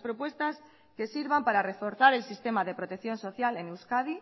propuestas que sirvan para reforzar el sistema de protección social en euskadi